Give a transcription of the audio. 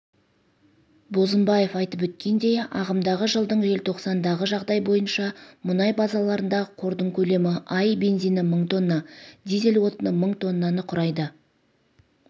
бозымбаев айтып өткендей ағымдағы жылдың желтоқсандағы жағдай бойынша мұнай базаларындағы қордың көлемі аи бензині мың тонна дизель отыны мың тоннаны құрайды